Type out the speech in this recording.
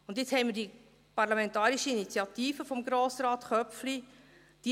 Und nun haben wir die Parlamentarische Initiative von Grossrat Köpfli .